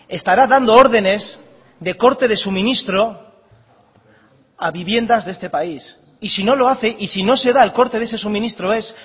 estará dando órdenes de corte de suministro a viviendas de este país y si no lo hace y si no se da el corte de ese suministro es